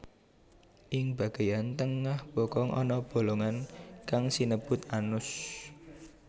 Ing bageyan tengah bokong ana bolongan kang sinebut anus